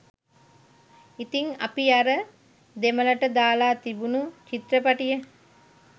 ඉතිං අපි අර දෙමළට දාලා තිබුණු චිත්‍රපටිය